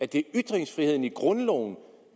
det ytringsfriheden i grundloven